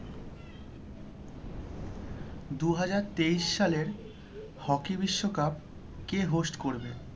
দু হাজার তেইশ সালের hockey বিশ্বকাপ কে host করবে?